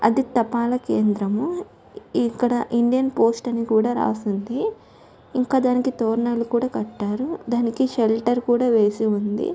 అది తపాలా కేంద్రము. ఇక్కడ ఇండియన్ పోస్ట్ అని కూడా రాసి ఉంది. ఇంకా దానికి కట్టారు . ఇంకా దానికి షెల్టర్ కూడా వేసి ఉంది.